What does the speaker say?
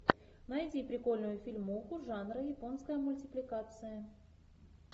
найди прикольную фильмуху жанра японская мультипликация